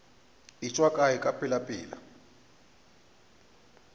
e tšwa kae ka pelapela